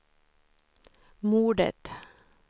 mordet